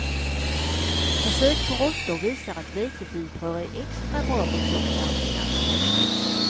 Försök på råttor visar att vetefibrer är extra bra mot tjocktarmscancer.